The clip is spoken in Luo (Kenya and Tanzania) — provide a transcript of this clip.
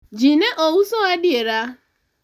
ji ne ouso adiera?